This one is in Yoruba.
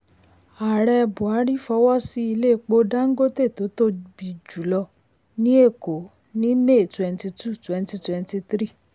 ààrẹ buhari fọwọ́ sí ilé epo dangote tó tóbi jù lọ ní èkó ní may 22 2023.